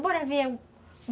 Bora ver.